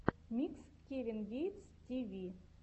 микс кевин гейтс ти ви